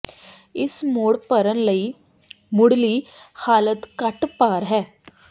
ਇਸ ਮੋਡ ਭਰਨ ਲਈ ਮੁੱਢਲੀ ਹਾਲਤ ਘੱਟ ਭਾਰ ਹੈ